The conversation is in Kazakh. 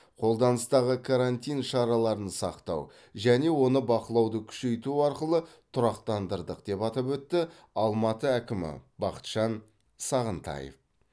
қолданыстағы карантин шараларын сақтау және оны бақылауды күшейту арқылы тұрақтандырдық деп атап өтті алматы әкімі бақытжан сағынтаев